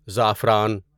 زعفران